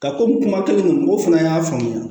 Ka komi kuma kelen don mɔgɔw fana y'a faamuya